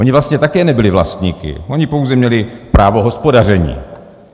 Ony vlastně také nebyly vlastníky, ony pouze měly právo hospodaření.